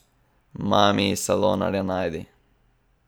Maaami, salonarje najdi!